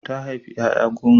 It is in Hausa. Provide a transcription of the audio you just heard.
Ta haifi ƴaƴa goma.